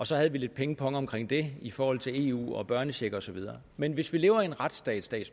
så havde vi lidt pingpong om det i forhold til eu og børnecheck og så videre men hvis vi lever i en retsstat